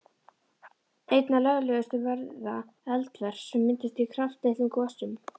Einna lögulegust verða eldvörp sem myndast í kraftlitlum gosum.